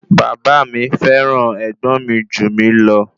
Bàbá mi fẹ́ràn ẹ̀gbọ́n mi jù mí lọ